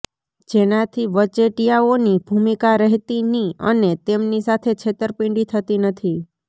જેનાથી વચેટીયાઓની ભૂમિકા રહેતી ની અને તેમની સાથે છેતરપિંડી થતી નથી